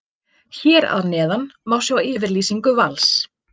Hér að neðan má sjá yfirlýsingu Vals.